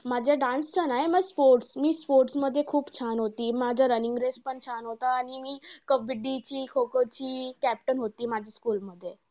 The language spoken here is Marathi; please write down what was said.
माझं dance चं नाय sports मी sports मध्ये खूप छान होती. माझं running race पण छान होता आणि मी कबड्डी ची, खो-खो ची captain होती, माझ्या school मध्ये.